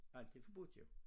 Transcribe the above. Alt er forbudt jo